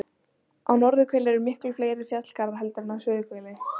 Á norðurhveli eru miklu fleiri fjallgarðar heldur en á suðurhveli.